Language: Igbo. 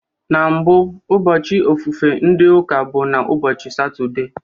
Na mbụ, ụbọchị ofufe ndị Ụka bụ na ụbọchị Satọde